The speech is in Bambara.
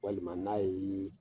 Walima n'a y'i